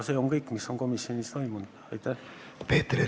Peeter Ernits, palun!